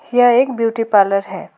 यह एक beauty parlour है।